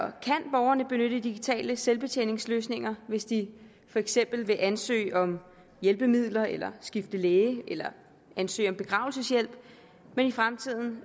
borgerne benytte digitale selvbetjeningsløsninger hvis de for eksempel vil ansøge om hjælpemidler eller skifte læge eller ansøge om begravelseshjælp men i fremtiden